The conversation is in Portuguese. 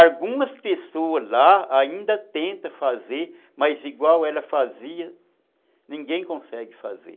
Algumas pessoas lá ainda tentam fazer, mas igual ela fazia, ninguém consegue fazer.